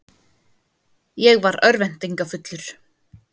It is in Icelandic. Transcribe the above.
Ég var örvæntingarfullur.